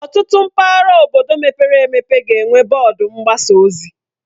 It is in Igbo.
Ọtụtụ mpaghara obodo mepere emepe ga-enwe bọọdụ mgbasa ozi